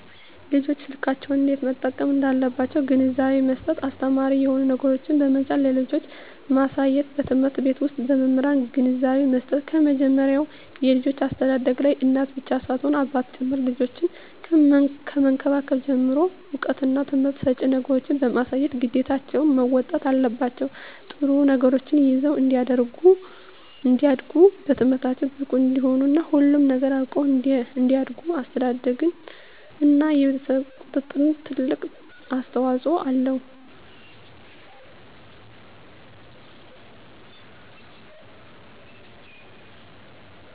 ልጆች ስልኮችን እንዴት መጠቀም እንዳለባቸዉ ግንዛቤ መስጠት አስተማሪ የሆኑ ነገሮችን በመጫን ለልጆች ማሳየትበትምህርት ቤት ዉስጥ በመምህራን ግንዛቤ መስጠት ከመጀመሪያዉ የልጆች አስተዳደግላይ እናት ብቻ ሳትሆን አባትም ጭምር ልጆችን ከመንከባከብ ጀምሮ እዉቀትና ትምህርት ሰጭ ነገሮችን በማሳየት ግዴታቸዉን መወጣት አለባቸዉ ጥሩ ነገሮችን ይዘዉ እንዲያድጉ በትምህርታቸዉ ብቁ እንዲሆኑ እና ሁሉንም ነገር አዉቀዉ እንዲያድጉ አስተዳደርግ እና የቤተሰብ ቁጥጥር ትልቅ አስተዋፅኦ አለዉ